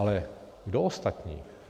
Ale kdo ostatní?